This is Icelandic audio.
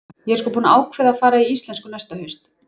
Ég er sko búin að ákveða að fara í íslensku næsta haust.